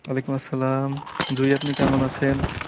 ওয়ালিকুম আসলাম, জুই আপনি কেমন আছেন?